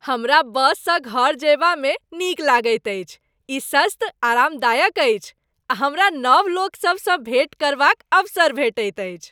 हमरा बससँ घर जयबामे नीक लगैत अछि। ई सस्त, आरामदायक अछि आ हमरा नव लोकसभसँ भेँट करबाक अवसर भेटैत अछि।